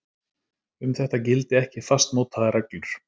Um þetta gildi ekki fastmótaðar reglur